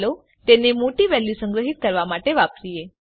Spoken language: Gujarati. ચાલો તેને મોટી વેલ્યુ સંગ્રહીત કરવા માટે વાપરીએ